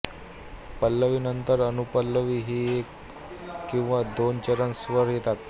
पल्लवी नंतरअनुपल्लवी आणि एक किंवा दोन चरण स्वर येतात